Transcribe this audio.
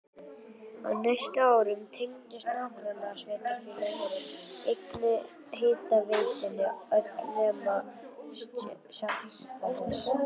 Á næstu árum tengdust nágrannasveitarfélögin einnig hitaveitunni öll nema Seltjarnarnes.